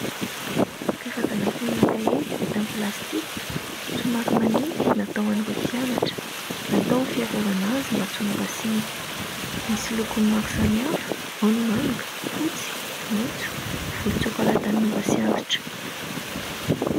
Karazana fonona kahie vita amin'ny plastika somary manify natao ho an'ireo mpianatra, natao ho fiarovana azy mba tsy ho mora simba, misy loko maro samihafa ao ny: manga, fotsy, maitso, volontsokala tanora sy antitra.